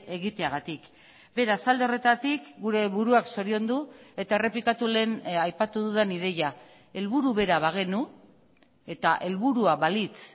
egiteagatik beraz alde horretatik gure buruak zoriondu eta errepikatu lehen aipatu dudan ideia helburu bera bagenu eta helburua balitz